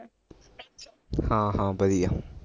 ਹਾਂ ਹਾਂ ਵਧੀਆ